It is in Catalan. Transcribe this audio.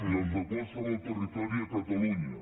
i els de qualsevol territori a catalunya